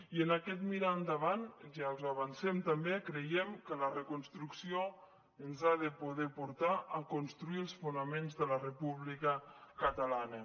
i en aquest mirar endavant ja els ho avancem també creiem que la reconstrucció ens ha de poder portar a construir els fonaments de la república catalana